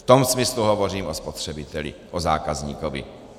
V tom smyslu hovořím o spotřebitelích, o zákazníkovi.